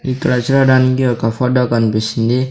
ఇక్కడ చూడడానికి ఒక ఫోటో కనిపిస్తుంది.